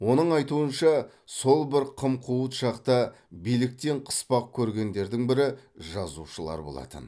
оның айтуынша сол бір қым қуыт шақта биліктен қыспақ көргендердің бірі жазушылар болатын